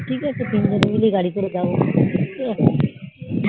ঠিক আছে তিনজনে মিলে গাড়ি করে যাবো